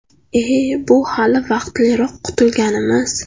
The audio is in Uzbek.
E, bu hali vaqtliroq qutilganimiz.